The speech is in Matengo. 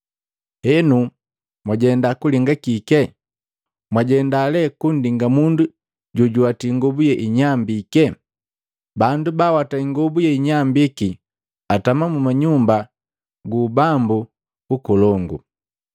Henu, mwajenda kulinga kike? Mwajenda lee kundinga mundu jojuwati ingobu yeinyambike? Bandu bawata ingobu yeinyambiki atama mu manyumba gu ubambu nkolongu.